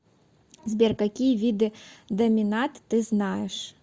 сбер какие виды доминат ты знаешь